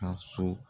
Ka so